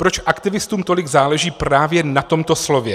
Proč aktivistům tolik záleží právě na tomto slově?